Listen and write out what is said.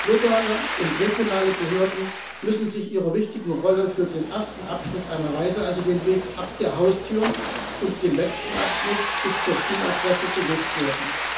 Lokale und regionale Behörden müssen sich ihrer wichtigen Rolle für den ersten Abschnitt einer Reise also den Weg ab der Haustür und den letzten Abschnitt bis zur Zieladresse bewusst werden.